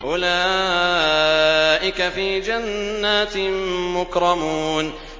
أُولَٰئِكَ فِي جَنَّاتٍ مُّكْرَمُونَ